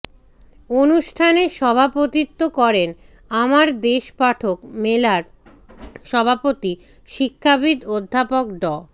অনুষ্ঠানে সভাপতিত্ব করেন আমার দেশ পাঠক মেলার সভাপতি শিক্ষাবিদ অধ্যাপক ড